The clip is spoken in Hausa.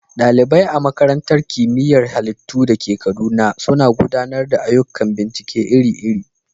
ɗalibai a Makarantar Kimiyyar Halittu da ke Kaduna suna gudanar da ayyukan bincike iri-iri.